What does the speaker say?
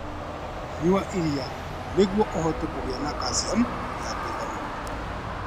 Nyua iria nĩguo ũhote kũgĩa na kaciamu ya kũigana.